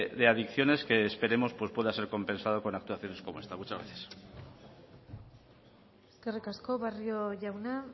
de adicciones que esperemos que pueda ser compensado por actuaciones como esta muchas gracias eskerrik asko barrio jauna